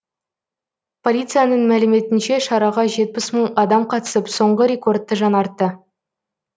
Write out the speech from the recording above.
полицияның мәліметінше шараға жетпіс мың адам қатысып соңғы рекордты жаңартты